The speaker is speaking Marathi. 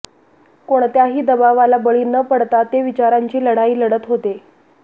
कोणत्याही दबावाला बळी न पडता ते विचारांची लढाई लढत होते